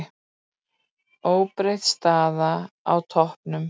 Óbreytt staða á toppnum